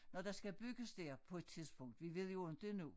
Når der skal bygges der på et tidspunkt vi ved jo inte endnu